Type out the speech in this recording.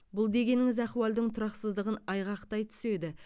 бұл дегеніңіз ахуалдың тұрақсыздығын айғақтай түседі